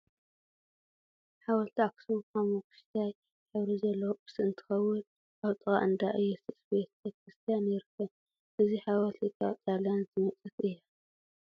ሓወልቲ ኣክሱም ሓመኩሽታይ ሕብሪ ዘለዎ ቅርሲ እንትከውን፣ ኣብ ጥቃ እንዳ እየሱስ ቤተ ክርስትያን ይርከብ። እዚ ሓወልቲ ካብ ጣልያን ዝመፀት እያ።